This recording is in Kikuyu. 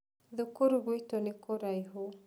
Thukuru guitũ nĩ kũraihu.